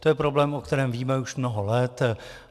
To je problém, o kterém víme už mnoho let.